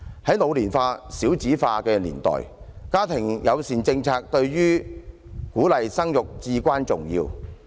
在老年化、少子化的年代，家庭友善政策對於鼓勵生育至關重要。